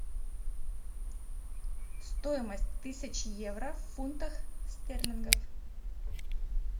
стоимость тысячи евро в фунтах стерлингов